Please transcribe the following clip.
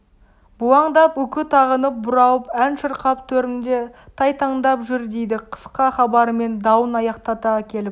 бұлаңдап үкі тағынып бұралып ән шырқап төрімде тайтаңдап жүр дейді қысқа хабарымен дауын аяқтата келіп